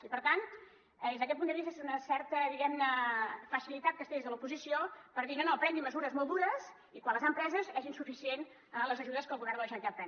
i per tant des d’aquest punt de vista és una certa diguem ne facilitat que es té des de l’oposició per dir no no prenguin mesures molt dures i quan les han preses són insuficients les ajudes que el govern de la generalitat pren